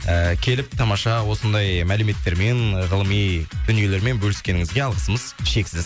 ііі келіп тамаша осындай мәліметтермен ғылыми дүниелермен бөліскеніңізге алғысымыз шексіз